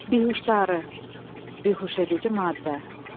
Bihuştarı, bihuş edici maddə.